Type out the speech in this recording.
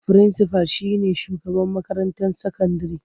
Firinsifal shi ne shugaban makarantar sakandire.